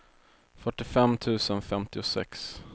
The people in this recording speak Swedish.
fyrtiofem tusen femtiosex